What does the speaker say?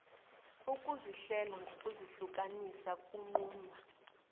ukuzihlela ngokuzihlukanisa kunqunywa